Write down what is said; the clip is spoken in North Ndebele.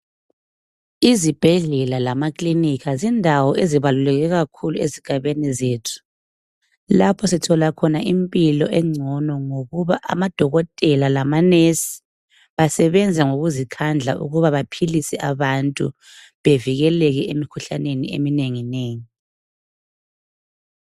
Izibhedlela lamakilinika zindawo ezibaluleke kakhulu ezigabeni zethu, lapho sithola khona impilo engcono ngokuba amadokotela lamanesi asebenza ngokuzikhandla ukuba baphilise abantu, bevikele emkhuhlaneni eminenginengi.